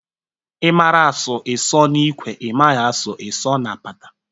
Ị mara asụ, ị sụọ n'ikwe, ị maghị a sụọ ị sụọ na apata